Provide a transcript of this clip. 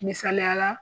Misaliyala